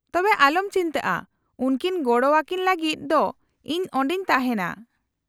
-ᱛᱚᱵᱮ ᱟᱞᱚᱢ ᱪᱤᱱᱛᱟᱹᱜᱼᱟ , ᱩᱱᱠᱤᱱ ᱜᱚᱲᱚ ᱟᱹᱠᱤᱱ ᱞᱟᱹᱜᱤᱫ ᱫᱚ ᱤᱧ ᱚᱸᱰᱮᱧ ᱛᱟᱦᱮᱸᱱᱟ ᱾